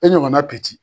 E ɲɔgɔnna